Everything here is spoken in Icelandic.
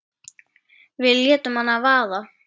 Við létum hana vaða.